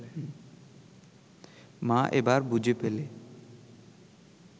মা এবার বুঝে ফেলে